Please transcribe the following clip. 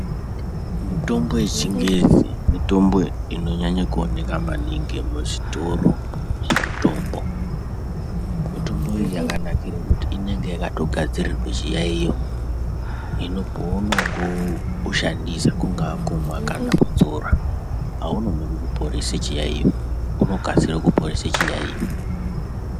Mitombo yechingezi mitombo inonyanya kuonekwa maningi muzvitoro zvemitombo mitombo iyi yakanakira kuti inenge yaka gadzirirwa chiyaiyo hino pauno ushandisa kungava kumwa kana kudzora anonoki kuporesa chiyaiyo unokasira kuponesa chiyaiyo.